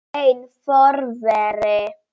Einn forveri